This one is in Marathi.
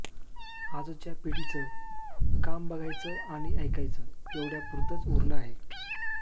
आजच्या पिढीचं काम बघायचं आणि ऐकायचं एवढय़ापुरतंच उरलं आहे